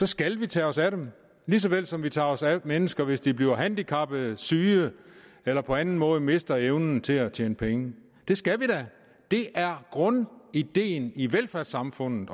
skal vi tage os af dem lige så vel som vi tager os af mennesker hvis de bliver handicappede syge eller på anden måde mister evnen til at tjene penge det skal vi da det er grundideen i velfærdssamfundet